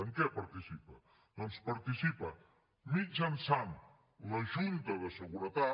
en què participa doncs participa mitjançant la junta de seguretat